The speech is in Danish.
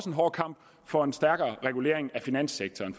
en hård kamp for en stærkere regulering af finanssektoren